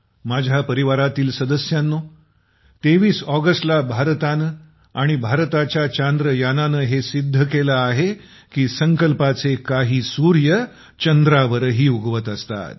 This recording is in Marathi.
माझ्या परिवारातील सदस्यांनो २३ ऑगस्टला भारतानं आणि भारताच्या चंद्रयानानं हे सिद्ध केलं आहे की संकल्पाचे काही सूर्य चंद्रावरही उगवत असतात